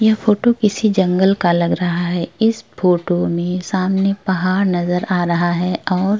यह फोटो किसी जंगल का लग रहा है। इस फोटो में सामने पहाड़ नजर आ रहा है और --